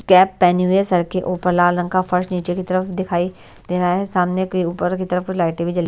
cap पहनी हुई है सर के ऊपर लाल रंग का फर्श नीचे की तरफ दिखाई दे रहा है सामने की ऊपर की तरफ लाइटें भी--